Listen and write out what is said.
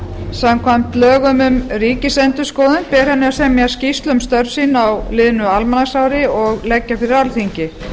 samkvæmt lögum um ríkisendurskoðun ber henni að semja skýrslu um störf sín á liðnu almanaksári og leggja fyrir leggja fyrir alþingi